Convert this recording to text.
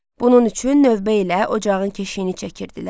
Bunun üçün növbə ilə ocağın keşiyini çəkirdilər.